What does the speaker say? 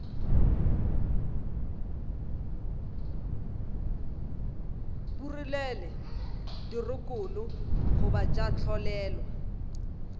phurelwe dirokolo goba tša tlolelwa